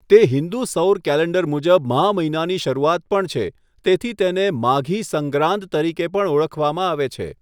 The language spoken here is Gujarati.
તે હિન્દુ સૌર કેલેન્ડર મુજબ મહા મહિનાની શરૂઆત પણ છે, તેથી તેને 'માઘી સંગ્રાંદ' તરીકે પણ ઓળખવામાં આવે છે.